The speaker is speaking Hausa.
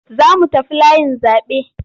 Za mu tafi layin zaɓe.